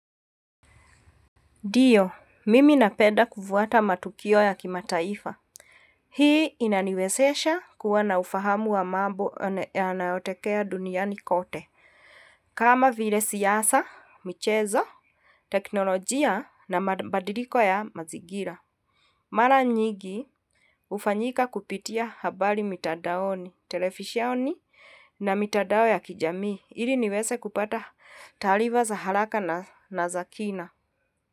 Ndio, mimi napenda kufuata matukio ya kimataifa. Hii inaniwezesha kuwa na ufahamu wa mambo yanayotokea duniani kote. Kama vile siasa, michezo, teknolojia na mabadiliko ya mazingira. Mara nyingi, hufanyika kupitia habari mitandaoni, televisheni na mitandao ya kijamii. Ili niweze kupata taarifa za haraka na za kina.